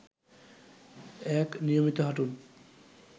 ১. নিয়মিত হাঁটুন